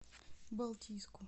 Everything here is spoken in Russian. балтийску